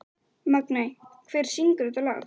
Magney, hver syngur þetta lag?